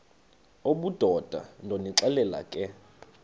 obudoda ndonixelela ke